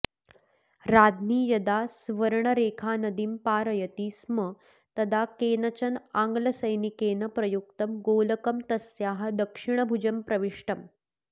राज्ञी यदा स्वर्णरेखानदीं पारयति स्म तदा केनचन आङ्ग्लसैनिकेन प्रयुक्तं गोलकम् तस्याः दक्षिणभुजं प्रविष्टम्